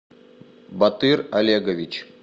батыр олегович